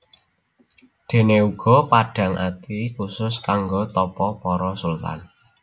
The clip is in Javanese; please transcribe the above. Déné Guwa Padhang Ati khusus kanggo tapa para sultan